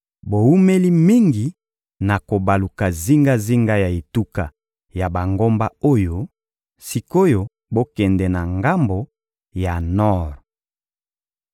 «Bowumeli mingi na kobaluka zingazinga ya etuka ya bangomba oyo; sik’oyo bokende na ngambo ya nor.